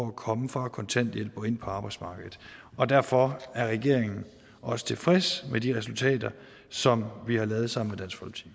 at komme fra kontanthjælp og ind på arbejdsmarkedet og derfor er regeringen også tilfreds med de resultater som vi har lavet sammen